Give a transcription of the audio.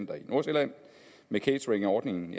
nordsjælland med cateringordningen